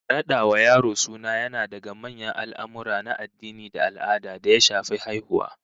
Rada wa yaro suna yana daga manyan al'amurra na addini da al'ada da ya shafi haihuwa